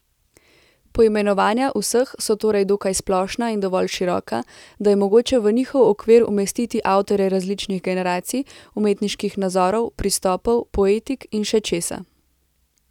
Poimenovanja vseh so torej dokaj splošna in dovolj široka, da je mogoče v njihov okvir umestiti avtorje različnih generacij, umetniških nazorov, pristopov, poetik in še česa.